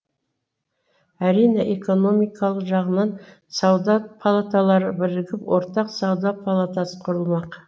әрине экономикалық жағынан сауда палаталары бірігіп ортақ сауда палатасы құрылмақ